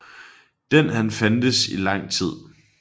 Den har fandtes i lang tid